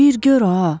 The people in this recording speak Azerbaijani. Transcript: Bir gör ha!